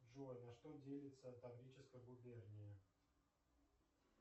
джой на что делится таврическая губерния